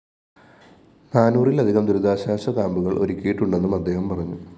നാനൂറിലധികം ദുരിതാശ്വാസ ക്യാമ്പുകള്‍ ഒരുക്കിയിട്ടുണ്ടെന്നും അദ്ദേഹം പറഞ്ഞു